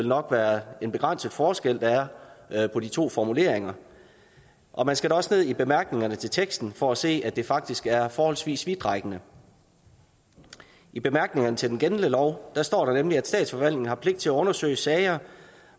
nok være en begrænset forskel der er på de to formuleringer og man skal da også ned i bemærkningerne til teksten for at se at det faktisk er forholdsvis vidtrækkende i bemærkningerne til den gældende lov står der nemlig at statsforvaltningen har pligt til at undersøge sager